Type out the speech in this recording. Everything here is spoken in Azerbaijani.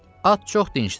At çox dincdir.